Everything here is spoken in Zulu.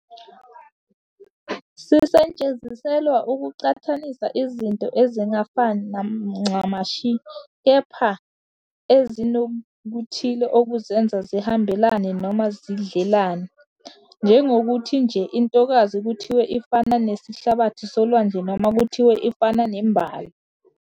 Sisetshenziselwa ukuqhathanisa izinto ezingafani ncamashi kepha ezinokuthile okuzenza zihambelane noma zidlelane, njengokuthi nje intokazi kuthiwe ifana nesihlabathi solwandle noma kuthiwe ifana nembali."